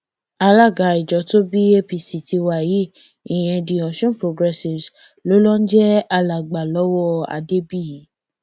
alága ìjọ tó bí apc tiwa yìí ìyẹn the ọsun progressives ló ló ń jẹ alàgbà lọwọ adébíyì